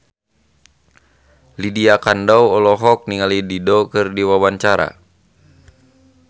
Lydia Kandou olohok ningali Dido keur diwawancara